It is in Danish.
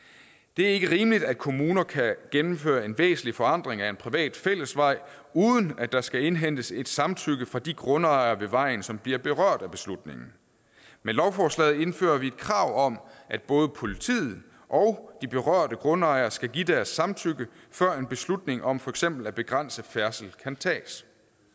det er ikke rimeligt at kommuner kan gennemføre en væsentlig forandring af en privat fællesvej uden at der skal indhentes et samtykke fra de grundejere ved vejen som bliver berørt af beslutningen med lovforslaget indfører vi et krav om at både politiet og de berørte grundejere skal give deres samtykke før en beslutning om for eksempel at begrænse færdsel kan tages